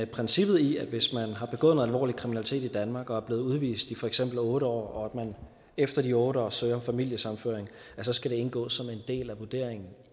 princippet i at det hvis man har begået alvorlig kriminalitet i danmark og bliver udvist i for eksempel otte år og man efter de otte år søger familiesammenføring så skal indgå som en del af vurderingen